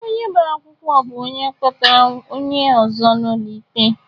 Onye gbara akwụkwọ bụ onye kpụtara onye ọzọ n’ụlọ ikpe.